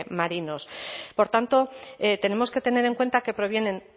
marinos por tanto tenemos que tener en cuenta que provienen